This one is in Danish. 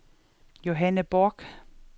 Johanne Borch